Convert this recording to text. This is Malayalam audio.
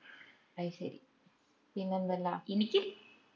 അയ്‌ശേരി പിന്നെന്തെല്ലാ